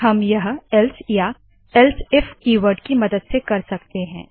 हम यह एल्से या एलसीफ कीवर्ड के मदद से कर सकते है